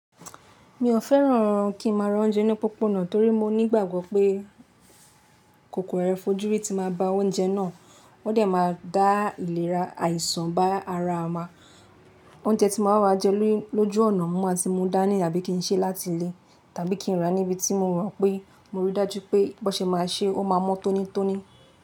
Mi ò fẹ́ràn kí n máa rán oúnjẹ ni pópónà torí mo nígbàgbọ́ pé kòkòrò ẹfọjúrí ti máa ba oúnjẹ náà, wọ́n dẹ̀ máa dá ìlera àìsàn bá ara wa. Oúnjẹ tí mo máa ń rà jẹ lójú ọ̀nà, mo máa ti mú dání àbí kí n ṣe láti ilé tàbí kí n rà níbi tí mo mọ̀ pé mo ríi dájú pé bó ṣe máa ṣe, ó máa mọ́ tónítóní.